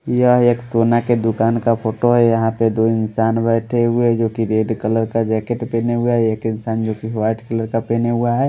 यह एक सोना के दुकान का फ़ोटो है यहां पे दो इंसान बैठे हुए हैं जो कि रेड कलर का जैकेट पहने हुआ है एक इंसान जो कि वाइट कलर का पहने हुआ है।